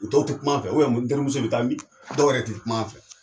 Dɔw tɛ kuma an fɛ mun n terimuso i bɛ taa min ? Dɔw yɛrɛ tɛ kuma an fɛ